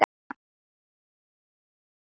Hver af þeim er bestur?